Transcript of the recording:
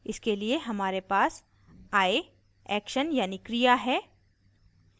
इसके लिए हमारे पास i action यानी क्रिया है